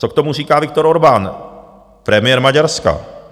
Co k tomu říká Viktor Orbán, premiér Maďarska?